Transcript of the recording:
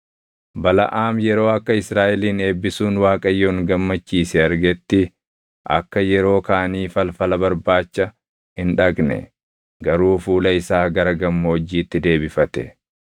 Balaʼaam yeroo akka Israaʼelin eebbisuun Waaqayyoon gammachiise argetti akka yeroo kaanii falfala barbaacha hin dhaqne; garuu fuula isaa gara gammoojjiitti deebifate.